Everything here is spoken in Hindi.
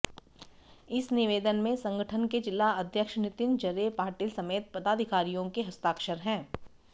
इस निवेदन में संगठन के जिलाध्यक्ष नितिन जरे पाटिल समेत पदाधिकारियों के हस्ताक्षर हैं